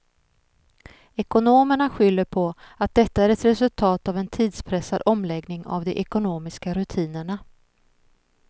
Ekonomerna skyller på att detta är ett resultat av en tidspressad omläggning av de ekonomiska rutinerna.